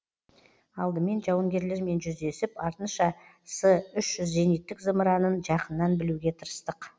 алдымен жауынгерлермен жүздесіп артынша с үш жүз зениттік зымыранын жақыннан білуге тырыстық